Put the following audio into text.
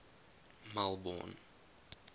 melbourne